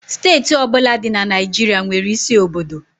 Steeti ọ bụla dị na Naịjirịa nwere isi obodo.